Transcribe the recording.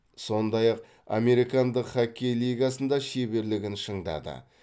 сондай ақ американдық хоккей лигасында шеберлігін шыңдады